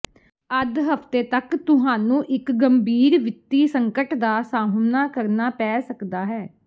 ਅੱਧ ਹਫਤੇ ਤੱਕ ਤੁਹਾਨੂੰ ਇੱਕ ਗੰਭੀਰ ਵਿੱਤੀ ਸੰਕਟ ਦਾ ਸਾਹਮਣਾ ਕਰਨਾ ਪੈ ਸਕਦਾ ਹੈ